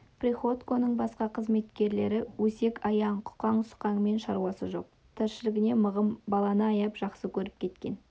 приходьконың басқа қызметкерлері өсек-аяң құқаң-сұқаңмен шаруасы жоқ тіршілігіне мығым баланы аяп жақсы көріп кеткен